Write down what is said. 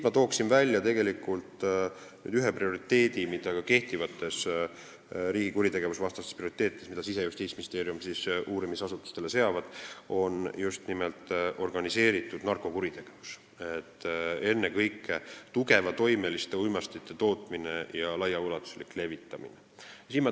Ma toon välja ühe prioriteedi, mille ka kehtivates riigi kuritegevusvastastes prioriteetides on Siseministeerium ja Justiitsministeerium uurimisasutustele seadnud, see on just nimelt organiseeritud narkokuritegevus, ennekõike tugeva toimega uimastite tootmine ja laiaulatuslik levitamine.